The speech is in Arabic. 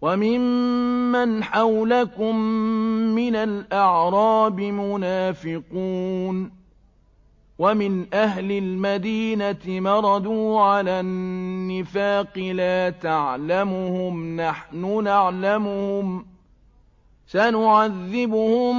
وَمِمَّنْ حَوْلَكُم مِّنَ الْأَعْرَابِ مُنَافِقُونَ ۖ وَمِنْ أَهْلِ الْمَدِينَةِ ۖ مَرَدُوا عَلَى النِّفَاقِ لَا تَعْلَمُهُمْ ۖ نَحْنُ نَعْلَمُهُمْ ۚ سَنُعَذِّبُهُم